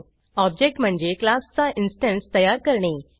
object म्हणजे क्लासचा instanceतयार करणे